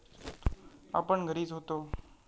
आपण घरीच होतो.